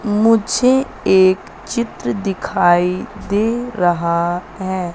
मुझे एक चित्र दिखाई दे रहा है।